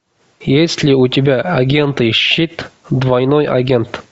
есть ли у тебя агенты щит двойной агент